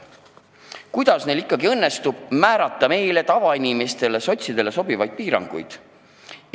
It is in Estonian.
Kuidas neil ikkagi õnnestub kehtestada meile, tavainimestele, sotsidele sobivaid piiranguid?